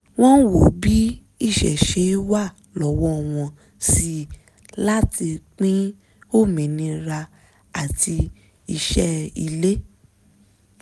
wọ́n wo bí iṣẹ́ ṣe wà lọ́wọ́ wọn sí láti pín òmìnira àti iṣé ilé